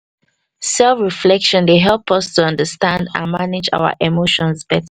self reflection dey help us to understand and manage our emotions